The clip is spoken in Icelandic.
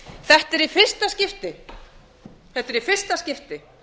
þetta er í fyrsta skiptið þetta er í fyrsta skipti